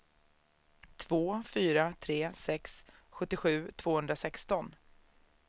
två fyra tre sex sjuttiosju tvåhundrasexton